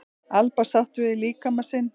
Alba sátt við líkama sinn